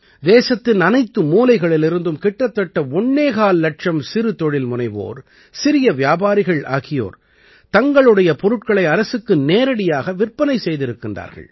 தேசத்தின் அனைத்து மூலைகளிலிருந்தும் கிட்டத்தட்ட ஒண்ணேகால் இலட்சம் சிறு தொழில்முனைவோர் சிறிய வியாபாரிகள் ஆகியோர் தங்களுடைய பொருட்களை அரசுக்கு நேரடியாக விற்பனை செய்திருக்கின்றார்கள்